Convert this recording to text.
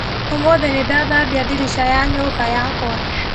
ũmũthĩ nĩndathambia ndirica ya nyũmba yakwa.